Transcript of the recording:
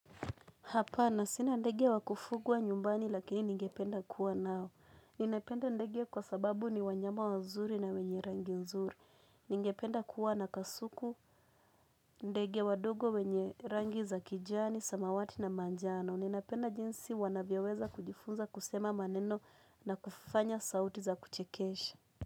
Hapana sina ndege wakufugwa nyumbani lakini ningependa kuwa nao. Ninependa ndege kwa sababu ni wanyama wa nzuri na wenye rangi nzuri. Ningependa kuwa na kasuku ndege wadogo wenye rangi za kijani, samawati na manjano. Ninapenda jinsi wanavyoweza kujifunza kusema maneno na kufanya sauti za kuchekesha.